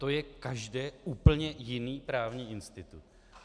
To je každé úplně jiný právní institut.